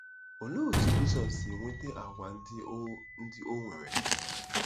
Olee otú Jizọs si nweta àgwà ndị o ndị o nwere?